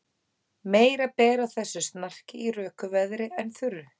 Meira ber á þessu snarki í röku veðri en þurru.